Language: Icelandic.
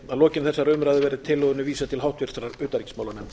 að lokinni þessari umræðu verði tillögunni vísað til háttvirtrar utanríkismálanefndar